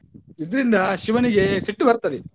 ಇದರಿಂದ ಶಿವನಿಗೆ ಸಿಟ್ಟು ಬರ್ತದೆ.